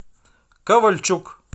ковальчук